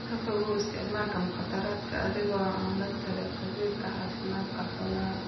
Ka fogow isticmaalka mukhaadaraadka adiga oo aan la talin khabiirka caafimaadka xoolaha.